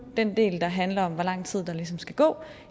den del der handler om hvor lang tid der ligesom skal gå